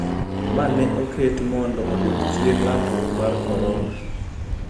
Ma ne oket mondo oduok chien landruok mar Korona